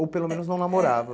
Ou pelo menos não namorava?